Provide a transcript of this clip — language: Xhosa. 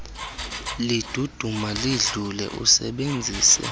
liduduma lidlule usebenzise